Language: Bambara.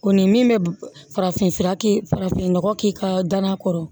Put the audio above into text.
O ni min bɛ farafin fura kɛ farafinnɔgɔ k'i ka danaya kɔrɔ